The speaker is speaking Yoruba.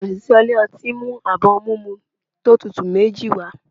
Osìsé ilé ọti ,mu abọ ohún mimú to tútú mejí wa